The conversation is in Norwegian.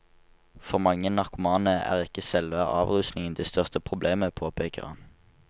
For mange narkomane er ikke selve avrusningen det største problemet, påpeker han.